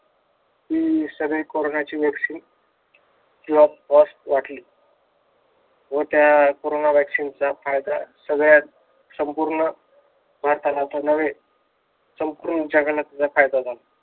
हि सगळी कोरोनाची वॅक्सीन free of cost वाटली व त्या कोरोना वॅक्सीन चा फायदा सगळ्या संपूर्ण भारतालाच तर नव्हे संपूर्ण जगाला त्याचा फायदा झाला.